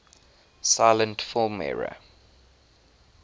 silent film era